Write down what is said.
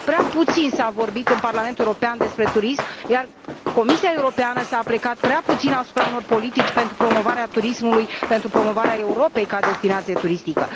Prea puțin s a vorbit în Parlamentul European despre turism, iar Comisia Europeană s a aplecat prea puțin asupra unor politici pentru promovarea turismului, pentru promovarea Europei ca destinație turistică.